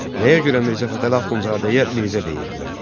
Nəyə görə Mirzə Fətəli Axundzadəyə Mirzə deyirdilər?